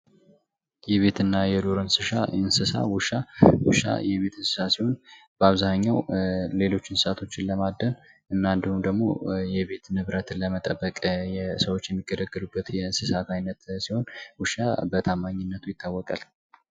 የቤት እና የዱር እንስሳ ዉሻ:- ዉሻ የቤት እንስሳ ሲሆን በአብዛኛዉ ሌሎች እንስሳቶችን ለማደን እና እንዲሁም ደግሞ ሌሎች ንብረቶችን ለመጠበቅ ሰዎች የሚገለገሉበት የእንስሳት አይነት ሲሆን ዉሻ በታማኝነቱ ይታወቃል።